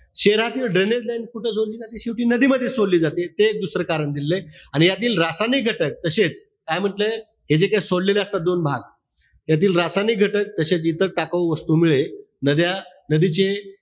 शहरातील drainage line नदीमध्येच सोडली जाते. ते एक दुसरं कारण दिलेलंय. आणि यातील रासायनिक घटक तशेच, काय म्हंटलय? हे जे काई सोडलेले असतात दोन भाग. यातील रासायनिक घटक तशेच इतर टाकाऊ वस्तूमुळे नद्या नदीची,